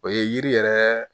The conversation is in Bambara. O ye yiri yɛrɛ